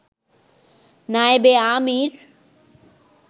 নায়েবে আমির